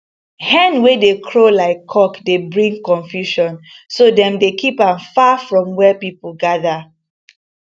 hen wey dey crow like cock dey bring confusion so dem dey keep am far from where people gather